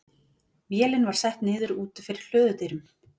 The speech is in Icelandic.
Vélin var sett niður úti fyrir hlöðudyrum.